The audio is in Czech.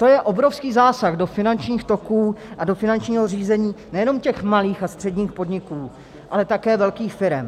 To je obrovský zásah do finančních toků a do finančního řízení nejenom těch malých a středních podniků, ale také velkých firem.